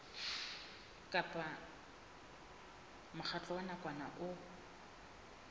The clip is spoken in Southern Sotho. kapa mokgatlo wa nakwana o